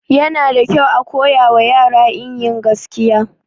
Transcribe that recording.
Yana da kyau a koyawa yara inyi gaskiya